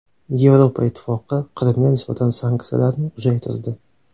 Yevropa Ittifoqi Qrimga nisbatan sanksiyalarni uzaytirdi.